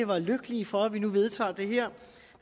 være lykkelige for at vi nu vedtager det her